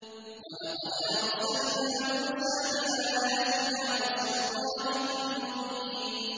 وَلَقَدْ أَرْسَلْنَا مُوسَىٰ بِآيَاتِنَا وَسُلْطَانٍ مُّبِينٍ